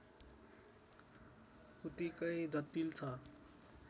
उत्तिकै जटिल छ